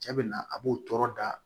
Cɛ bɛ na a b'o tɔɔrɔ da